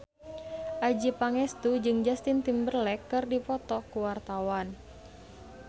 Adjie Pangestu jeung Justin Timberlake keur dipoto ku wartawan